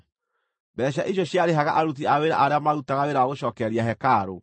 Mbeeca icio ciarĩhaga aruti a wĩra arĩa maarutaga wĩra wa gũcookereria hekarũ.